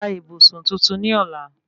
Ra ìbùsùn tuntun ní ọ̀la